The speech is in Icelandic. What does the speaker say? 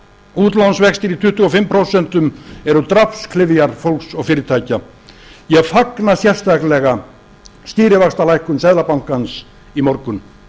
útlánsvextir í tuttugu og fimm prósent eru drápsklyfjar fólks og fyrirtækja ég fagna sérstaklega stýrivaxtalækkun seðlabankans í morgun